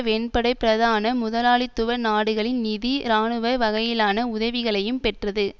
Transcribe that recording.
வெண்படை பிரதான முதலாளித்துவ நாடுகளின் நிதி இராணுவ வகையிலான உதவிகளையும் பெற்றது